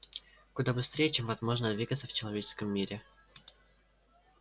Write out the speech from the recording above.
куда быстрее чем возможно двигаться в человеческом мире